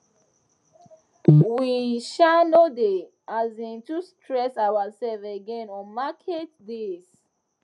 we um no dey um too stress ourselves again on market days